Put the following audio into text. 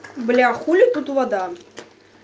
бля хули тут вода